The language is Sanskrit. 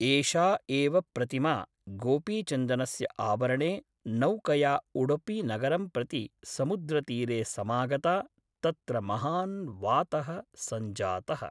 एषा एव प्रतिमा गोपीचन्दनस्य आवरणे नौकया उडुपिनगरं प्रति समुद्रतीरे समागता तत्र महान् वातः सञ्जातः